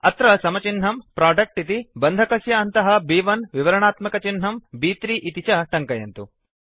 अत्र समचिह्नं प्रोडक्ट इति बन्धकस्य अन्तः ब्1 विवरणात्मकचिह्नं ब्3 इति च टङ्कयन्तु